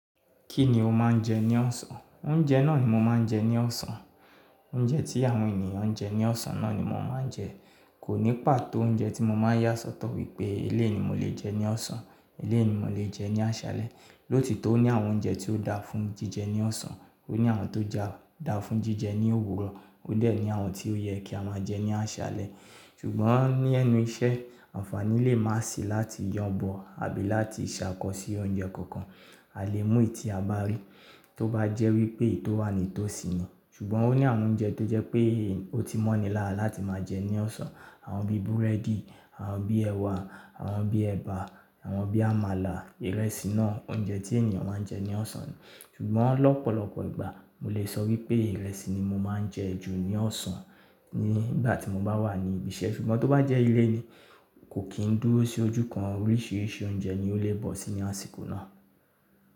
Kí ni o máa ń jẹ ní ọ̀sán? Oúnjẹ náà ni mo máa ń jẹ ní ọ̀sán. Oúnjẹ tí àwọn ènìyàn ń jẹ ní ọ̀sán náà ni mo máa ń jẹ. Kò ní pàtó oúnjẹ tí mo máa yà sọ́tọ̀ wípé eléèni mo lè jẹ ní ọ̀sán, eléèni mo lè jẹ ní àṣálẹ. Lóòti tọ o ní àwọn oúnjẹ tí ó dáa fún jíjẹ ní ọ̀sán, ó ní àwọn tó dà fún jíjẹ ní òwúrọ̀, ó dẹ̀ ní àwọn tí ó yẹ kí a máa jẹ ní àṣálẹ. Ṣùgbọ́n ní ẹnu iṣẹ́, àǹfàní lè má sì láti yàn bọ àbí láti ṣàkọsì oúnjẹ kankan. A lè mú èyí tí a bá rí, tó bá jẹ́ wípé èyí tó wà nì to sì ni. Ṣùgbọ́n ó ní àwọn oúnjẹ tó jẹ́ pé ó ti mọ́ni lára láti máa jẹ ní ọ̀sán, àwọn bí búrẹ́dì, àwọn bí ẹ̀wà, àwọn bí ẹba, àwọn bí àmàlà, ìrẹsì náà, oúnjẹ tí ènìyàn máa ń jẹ ní ọ̀sán ni. Ṣùgbọ́n lọ́pọ̀lọpọ̀ ìgbà, mo lè sọ wípé ìrẹsì ni mo máa ń jẹ ju ní ọ̀sán nígbà tí mo bá wà ní ibi iṣẹ́. Ṣùgbọ́n tó bá jẹ́ ilé ni, kò kín dúró sí ojú kan, oríṣiríṣi oúnjẹ ni ó lè bọ́ sí ní àsìkò náà.